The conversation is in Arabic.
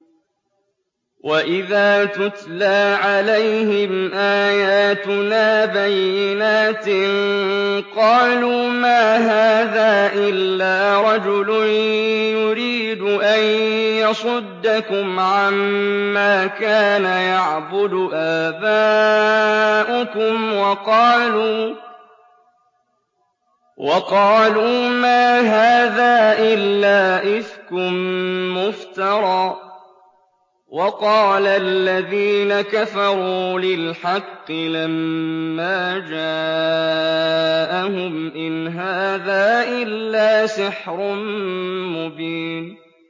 وَإِذَا تُتْلَىٰ عَلَيْهِمْ آيَاتُنَا بَيِّنَاتٍ قَالُوا مَا هَٰذَا إِلَّا رَجُلٌ يُرِيدُ أَن يَصُدَّكُمْ عَمَّا كَانَ يَعْبُدُ آبَاؤُكُمْ وَقَالُوا مَا هَٰذَا إِلَّا إِفْكٌ مُّفْتَرًى ۚ وَقَالَ الَّذِينَ كَفَرُوا لِلْحَقِّ لَمَّا جَاءَهُمْ إِنْ هَٰذَا إِلَّا سِحْرٌ مُّبِينٌ